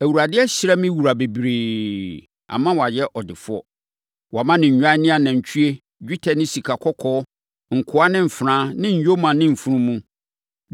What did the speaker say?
Awurade ahyira me wura bebree, ama wayɛ ɔdefoɔ. Wama no nnwan ne anantwie, dwetɛ ne sikakɔkɔɔ, nkoa ne mfenaa ne nyoma ne mfunumu.